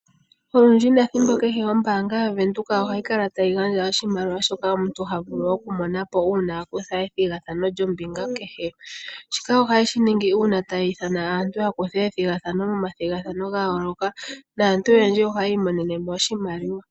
Olundji nethimbo kehe ombaanga yaWindhoek ohayi kala tayi gandja oshimaliwa shoka omuntu ha vulu okumona po uuna a kutha ethigathano lyombinga kehe. Shika ohaye shi ningi uuna tayi ithana aantu ya kuthe oombinga momathigathano ga yooloka, naantu oyendji ohayi monene mo oshimaliwa.